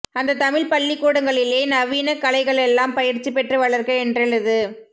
அந்தத் தமிழ் பள்ளிக்கூடங்களிலே நவீன கலைகளெல்லாம் பயிற்சி பெற்று வளர்க என்றெழுது